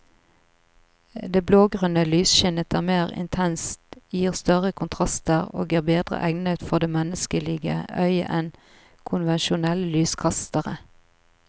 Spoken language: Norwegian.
Det blågrønne lysskinnet er mer intenst, gir større kontraster og er bedre egnet for det menneskelige øyet enn konvensjonelle lyskastere.